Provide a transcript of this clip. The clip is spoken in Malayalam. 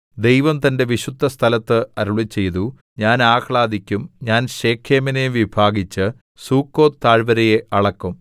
ദൈവം തന്റെ വിശുദ്ധസ്ഥലത്ത് അരുളിച്ചെയ്തു ഞാൻ ആഹ്ലാദിക്കും ഞാൻ ശെഖേമിനെ വിഭാഗിച്ച് സുക്കോത്ത് താഴ്വര അളക്കും